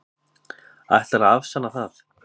Ætlarðu að afsanna það?